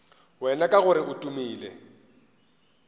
wena ka gore o tumile